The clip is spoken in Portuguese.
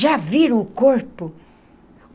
Já viram o corpo?